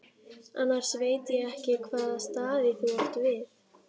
Annars veit ég ekki hvaða staði þú átt við.